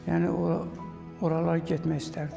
Yəni oralar getmək istərdim.